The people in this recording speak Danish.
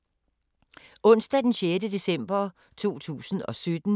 Onsdag d. 6. december 2017